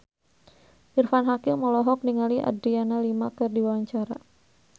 Irfan Hakim olohok ningali Adriana Lima keur diwawancara